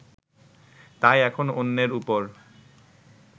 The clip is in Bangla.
তাই এখন অন্যের উপর